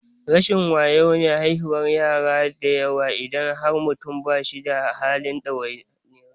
Rashin wayo ne haihuwar yara dayawa idan har mutum ba shi da halin ɗaukar ɗawainiyar su.